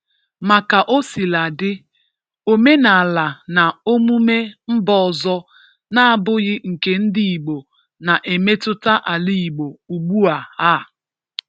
Ma ka o sila dị, omenala na omume mba ọzọ na-abughị nke ndị Igbo na-emetụta ala Igbo ugbu a. a.